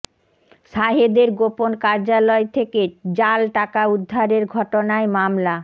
সাহেদের গোপন কার্যালয় থেকে জাল টাকা উদ্ধারের ঘটনায় মামলা